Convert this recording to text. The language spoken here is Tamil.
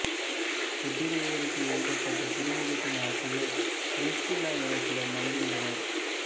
எபிரேயருக்கு எழுதப்பட்ட திருமுகத்தின் ஆசிரியர் பிரிஸ்கில்லா என சிலர் நம்புகின்றனர்